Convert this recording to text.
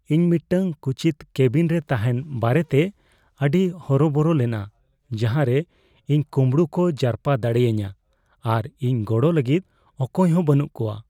ᱤᱧ ᱢᱤᱫᱴᱟᱝ ᱠᱩᱪᱤᱛ ᱠᱮᱵᱤᱱᱨᱮ ᱛᱟᱦᱮᱱ ᱵᱟᱨᱮᱛᱮ ᱟᱹᱰᱤ ᱦᱚᱨᱚᱵᱚᱨᱚ ᱞᱮᱱᱟ ᱡᱟᱦᱟᱸᱨᱮ ᱤᱧ ᱠᱩᱢᱵᱲᱩ ᱠᱚ ᱡᱟᱨᱯᱟ ᱫᱟᱲᱮᱭᱟᱹᱧᱟᱹ ᱟᱨ ᱤᱧ ᱜᱚᱲᱚ ᱞᱟᱹᱜᱤᱫ ᱚᱠᱚᱭᱦᱚᱸ ᱵᱟᱹᱱᱩᱜ ᱠᱚᱣᱟ ᱾